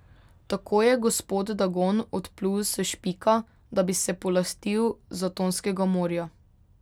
Tako je gospod Dagon odplul s Špika, da bi se polastil Zatonskega morja.